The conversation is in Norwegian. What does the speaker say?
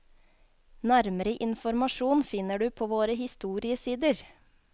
Nærmere informasjon finner du på våre historiesider.